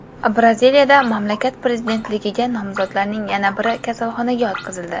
Braziliyada mamlakat prezidentligiga nomzodlarning yana biri kasalxonaga yotqizildi.